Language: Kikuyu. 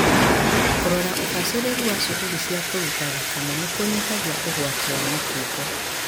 Kũrora ũbacĩrĩru wa cuguri cia kũruta thakame nĩ kũnyihagia ũgwati wa mũkingo.